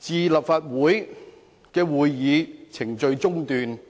致令立法會的會議程序中斷，即屬犯罪。